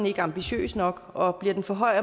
ikke ambitiøs nok og bliver den for høj